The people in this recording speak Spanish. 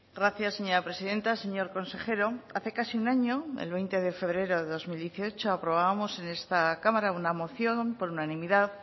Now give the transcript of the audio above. gracias señora presidenta señor consejero hace casi un año el veinte de febrero de dos mil dieciocho aprobábamos en esta cámara una moción por unanimidad